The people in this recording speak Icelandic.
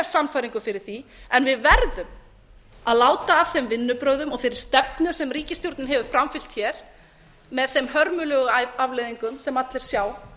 sannfæringu fyrir því en við verðum að láta af þeim vinnubrögðum og þeirri stefnu sem ríkisstjórnin hefur framfylgt með þeim hörmulegu afleiðingum sem allir sjá